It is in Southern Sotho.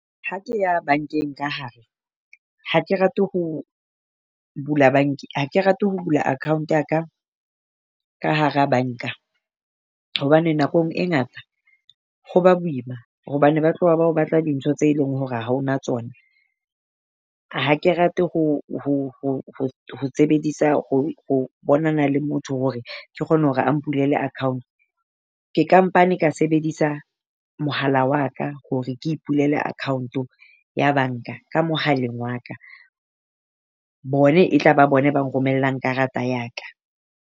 Ha ke ya bank-eng ka hare, ha ke rate ho bula bank ha rate ho bula account ya ka ka hara bank-a. Hobane nakong e ngata ho ba boima hobane ba tloha ba o batla dintho tse leng hore ha o na tsona. Ha ke rate ho sebedisa ho bonana le motho hore ke kgone hore a mpulele account. Ke kampane ka sebedisa mohala wa ka hore ke ipulele account ya bank-a ka mohaleng wa ka. Bone e tla ba bone ba nromellang karata ya ka.